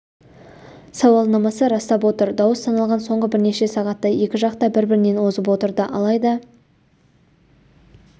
сауалнамасы растап отыр дауыс саналған соңғы бірнеше сағатта екі жақ та бір-бірінен озып отырды алайда